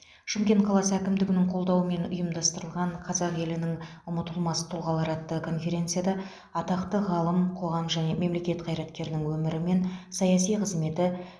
шымкент қаласы әкімдігінің қолдауымен ұйымдастырылған қазақ елінің ұмытылмас тұлғалары атты конференцияда атақты ғалым қоғам және мемлекет қайраткерінің өмірі мен саяси қызметі